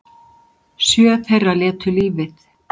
Sjö þeirra létu lífið